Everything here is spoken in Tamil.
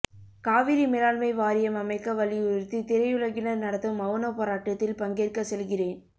காவிரி மேலாண்மை வாரியம் அமைக்க வலியுறுத்தி திரையுலகினர் நடத்தும் மவுன போராட்டத்தில் பங்கேற்க செல்கிறேன்